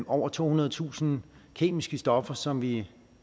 over tohundredetusind kemiske stoffer som vi